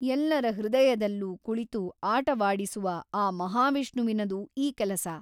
ಎಲ್ಲರ ಹೃದಯದಲ್ಲೂ ಕುಳಿತು ಆಟವಾಡಿಸುವ ಆ ಮಹಾವಿಷ್ಣುವಿನದು ಈ ಕೆಲಸ.